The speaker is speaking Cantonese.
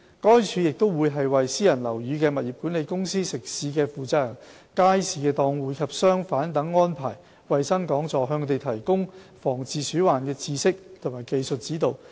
該署亦會為私人樓宇的物業管理公司、食肆負責人、街市檔戶及商販等安排衞生講座，向他們提供防治鼠患的知識及技術指導。